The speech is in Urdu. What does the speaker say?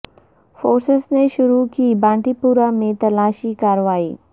فورسز نے شروع کی بانڈی پورہ میں تلاشی کارروائی